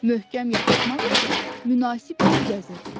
Möhkəm yapışmaq üçün münasib yer gəzirdi.